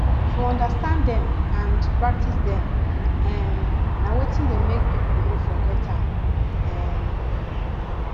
to understand dem and practice dem um na wetin de make pipo no forget am um